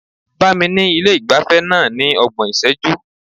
Bá mi ní ilé ìgbafẹ́ náà ní ọgbọ̀n ìṣẹ́jú.